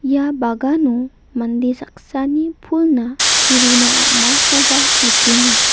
ia bagano mande saksani pulna chi runa am·akoba nikenga.